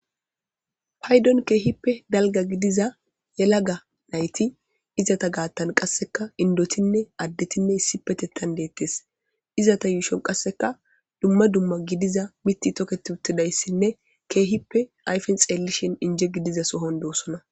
Paydon keehippe dalga gidiza yelaga nayti izata gaattan qasseka indotinne addetinne issi petettan deettes izata yuushon qasseka dumma dumma gidiza mitti toket uttidayssinne keehippe ayfen xeellishin inje gidiza sohon dosona.